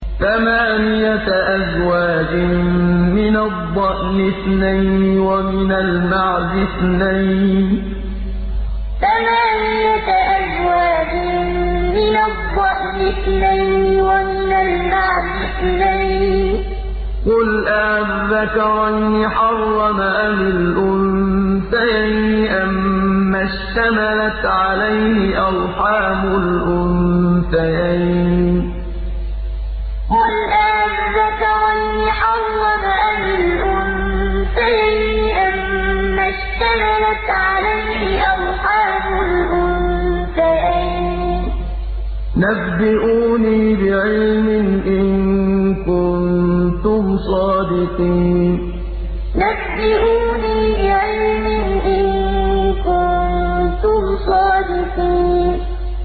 ثَمَانِيَةَ أَزْوَاجٍ ۖ مِّنَ الضَّأْنِ اثْنَيْنِ وَمِنَ الْمَعْزِ اثْنَيْنِ ۗ قُلْ آلذَّكَرَيْنِ حَرَّمَ أَمِ الْأُنثَيَيْنِ أَمَّا اشْتَمَلَتْ عَلَيْهِ أَرْحَامُ الْأُنثَيَيْنِ ۖ نَبِّئُونِي بِعِلْمٍ إِن كُنتُمْ صَادِقِينَ ثَمَانِيَةَ أَزْوَاجٍ ۖ مِّنَ الضَّأْنِ اثْنَيْنِ وَمِنَ الْمَعْزِ اثْنَيْنِ ۗ قُلْ آلذَّكَرَيْنِ حَرَّمَ أَمِ الْأُنثَيَيْنِ أَمَّا اشْتَمَلَتْ عَلَيْهِ أَرْحَامُ الْأُنثَيَيْنِ ۖ نَبِّئُونِي بِعِلْمٍ إِن كُنتُمْ صَادِقِينَ